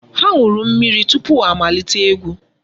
Ha ṅụrụ mmiri tupu ha amalite egwu.